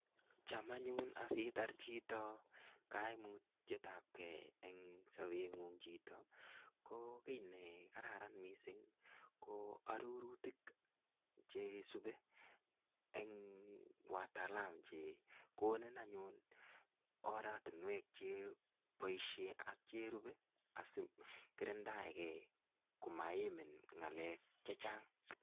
Cham anyun asitar chito kamutietab gei eng sobungung chito. Ko kiy nekararan mising ko arorutik chesube eng watalam chekonin anyun oratunwek cheboisien ak cherube asikirindaenge komaimin ngalek che chang.